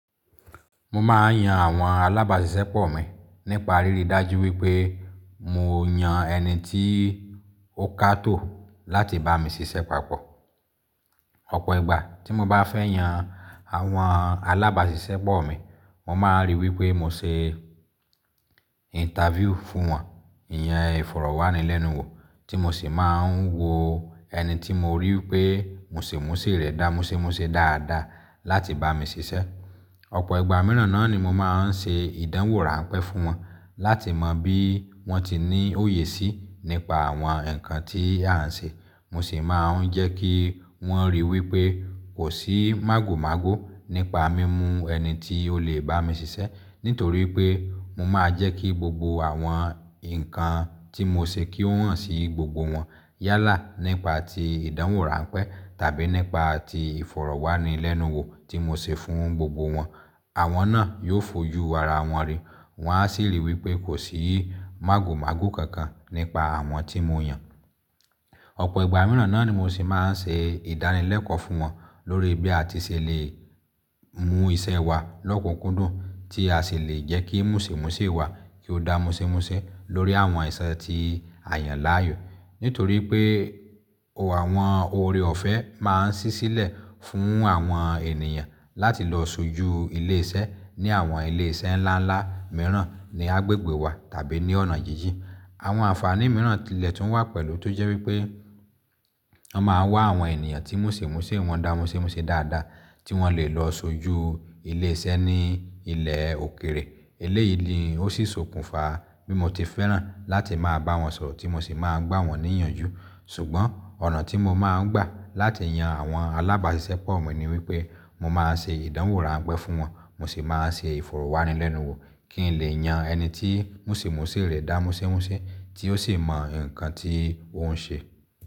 Mo máa ń yan àwọn alábàáṣiṣẹ́ pọ̀ mi nípa ríri dájú wípé mo yàn ẹni tí ó kátò láti bá mi ṣiṣẹ́ papọ̀. Ọ̀pọ̀ ìgbà tí mo bá fẹ́ yan àwọn alábáàṣìṣẹ́ pọ̀ mi, mo máa ń ríi wípé mo ṣe interview fún wọn, ìyàn ìfọ̀rọ̀wánilẹ́nuwò tí mo sì máa ń wo ẹni tí mo ríi wípé mùsìmúsí rẹ̀ dá mùsímúsí dáadáa láti bá mi ṣiṣẹ́. Ọ̀pọ̀ ìgbà mìíràn náà ni mo máa ń ṣe ìdánwò ránpẹ́ fún wọn láti mọ bí wọ́n ti ní òye sí nípa àwọn ǹkan tí a ń ṣe. Mo sì máa ń jẹ́ kí wọ́n ríi wípé kò sí mágòmágó nípa mímu ẹni tí ó lè bá mi ṣiṣẹ́. Nítorí pé mo máa jẹ́ kí gbogbo àwọn ǹkan tí mo ṣe kí ó hàn sí gbogbo wọn. Yálà nípa tí ìdánwò ránpẹ́ tàbí nípa tí ìfọ̀rọ̀wánilẹ́nuwò tí mo ṣe fún gbogbo wọn. Àwọn náà yóò fojú ara wọn rí. Wọn á sì rí i wípé kò sí mágòmágó kankan nípa àwọn tí mo yàn. Ọ̀pọ̀ ìgbà mìíràn náà ni mo sì máa ń ṣe ìdánilẹ́kọ̀ọ́ fún wọn lórí bí a ti ṣe lè mú iṣẹ́ wa lókunkúndùn tí a sì lè jẹ́ kí mùsìmúsí wa kí ó dá mùsímúsí lórí àwọn ẹ̀ṣẹ̀ ti àyànláààyò. Nítorí pé àwọn oore-ọ̀fẹ́ máa ń ṣí sílẹ̀ fún àwọn ènìyàn láti lọ sójú ilé iṣẹ́ ní àwọn ilé iṣẹ́ ńláńlá mìíràn ní agbègbè wa tàbí ní ọ̀nà jín jín. Àwọn àǹfààní mìíràn tí ilẹ̀ tún wà pẹ̀lú tó jẹ́ wípé wọ́n máa ń wá àwọn ènìyàn tí mùsìmúsí wọn dá mùsímúsí dáadáa tí wọ́n lè lọ sójú ilé iṣẹ́ ní ilẹ̀ òkèèrè. Eléyì ni ó sì sokùnfa bí mo ti fẹ́ràn láti máa bá wọn sọ̀rọ̀ tí mo sì máa ń gbá wọn ní ìyànjú. Ṣùgbọ́n ọ̀nà tí mo máa ń gbà láti yan àwọn alábáàṣiṣẹ́ pọ̀ mi ni wípé mo máa ń ṣe ìdánwò ránpẹ́ fún wọn mo sì máa ń ṣe ìfọ̀rọ̀wánilẹ́nuwò kí n lè yan ẹni tí mùsìmúsí rẹ̀ dá mùsímúsí tí ó sì mọ ǹkan tí ó ń ṣe.